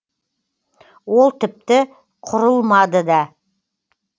ол тіпті құрылмады да